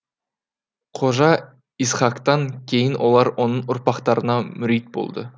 қожа исхақтан кейін олар оның ұрпақтарына мүрит болды